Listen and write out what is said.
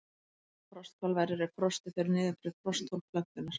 Frostkal verður ef frostið fer niður fyrir frostþol plöntunnar.